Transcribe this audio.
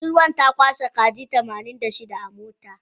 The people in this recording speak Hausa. Budurwan ta kwashe kaji tamanin da shida a mota.